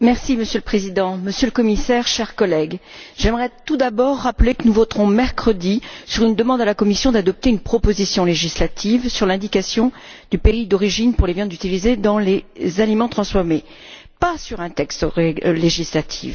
Monsieur le Président, Monsieur le Commissaire, chers collègues, j'aimerais tout d'abord rappeler que nous voterons mercredi sur une demande adressée à la Commission d'adopter une proposition législative sur l'indication du pays d'origine pour les viandes utilisées dans les aliments transformés, et non pas sur un texte législatif.